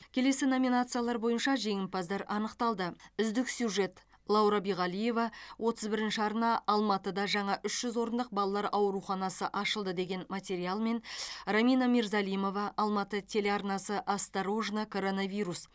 келесі номинациялар бойынша жеңімпаздар анықталды үздік сюжет лаура биғалиева отыз бірінші арна алматыда жаңа үш жүз орындық балалар ауруханасы ашылды деген материалмен рамина мирзалимова алматы телеарнасы осторожно коронавирус